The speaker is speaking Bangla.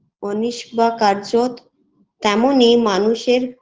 অনিস বা কারজত তেমনই মানুষের